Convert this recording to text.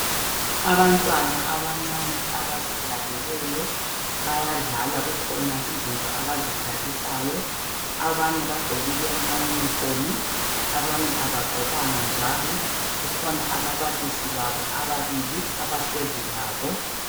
Abantwana abancane abazihlaleleyo bayadlala kukhona izinto abazidlalisayo. Abanye bagqokile amayunifomu, abanye abagqokanga njalo kukhona ababalisi babo abahlezi labo.